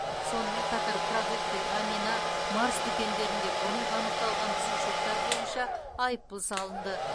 сонымен қатар продукты амина марс дүкендерінде бұрын анықталған бұзушылықтар бойынша айыпұл салынды